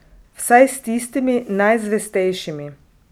Vsaj s tistimi najzvestejšimi.